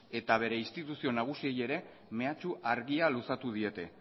eta bere instituzio nagusiei ere mehatxu argia luzatu diete